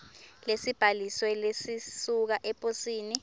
lesibhalisiwe lesisuka eposini